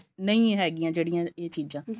ਨਹੀਂ ਹੈਗਿਆ ਜਿਹੜੀਆਂ ਇਹ ਚੀਜਾਂ